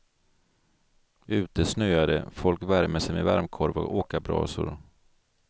Ute snöar det, folk värmer sig med varmkorv och åkarbrasor.